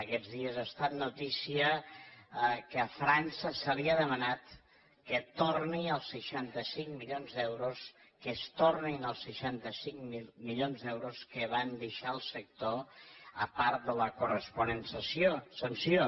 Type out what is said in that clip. aquests dies ha estat notícia que a frança se li ha demanat que torni els seixanta cinc milions d’euros que es tornin els seixanta cinc milions d’euros que van deixar al sector a part de la corresponent sanció